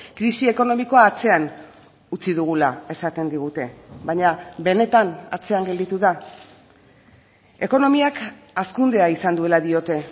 krisi ekonomikoa atzean utzi dugula esaten digute baina benetan atzean gelditu da ekonomiak hazkundea izan duela diote